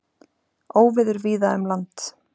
Óveður víða um land